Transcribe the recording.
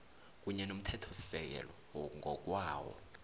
kunye nomthethosisekelo ngokwawo